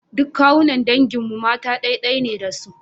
Duk kawunnan dangin mu mata ɗai-ɗai ne da su.